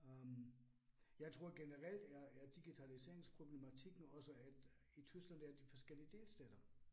Øh jeg tror generelt er er digitaliseringsproblematikken også, at i Tyskland der de forskellige delstater